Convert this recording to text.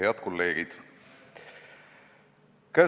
Head kolleegid!